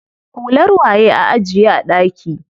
Hular waye a ajiye a ɗaki?